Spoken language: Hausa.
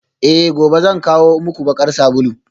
Eh gobe zan kawo muku bakar sabulu